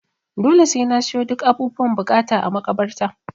Dole sai na siyo duk abubuwan buƙata a makabarta.